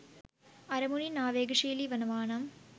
අරමුනින් ආවේගශීලී වනවානම්